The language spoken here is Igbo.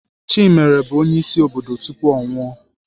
Chimere bụ onyeisi obodo tupu ọ nwụọ.